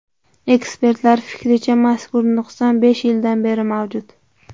Ekspertlar fikricha, mazkur nuqson besh yildan beri mavjud.